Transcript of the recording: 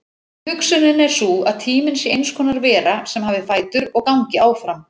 Hugsunin er sú að tíminn sé eins konar vera sem hafi fætur og gangi áfram.